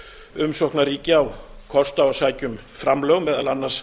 umsóknarríki á kost á að sækja um framlög meðal annars